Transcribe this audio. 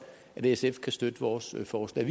at sf kan støtte vores forslag